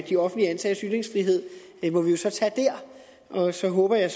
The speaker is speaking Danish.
de offentligt ansattes ytringsfrihed må vi jo så tage dér og så håber jeg